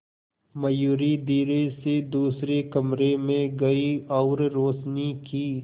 मयूरी धीरे से दूसरे कमरे में गई और रोशनी की